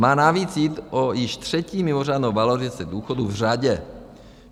Má navíc jít o již třetí mimořádnou valorizaci důchodů v řadě.